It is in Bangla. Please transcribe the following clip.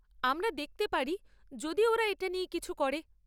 আমরা দেখতে পারি যদি ওরা এটা নিয়ে কিছু করে।